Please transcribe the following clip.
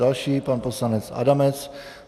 Další pan poslanec Adamec.